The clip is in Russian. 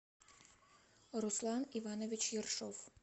руслан иванович ершов